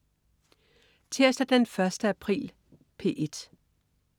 Tirsdag den 1. april - P1: